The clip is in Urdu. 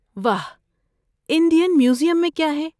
واہ انڈین میوزیم میں کیا ہے؟